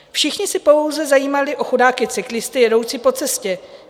Všichni se pouze zajímali o chudáky cyklisty jedoucí po cestě.